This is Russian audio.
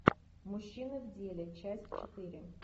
мужчины в деле часть четыре